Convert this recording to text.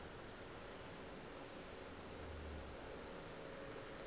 tsela yeo a napa a